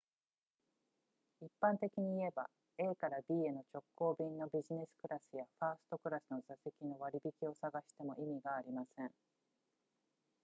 一般的に言えば a から b への直行便のビジネスクラスやファーストクラスの座席の割引を探しても意味がありません